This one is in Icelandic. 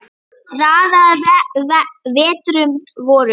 Raðaði vetrum vorum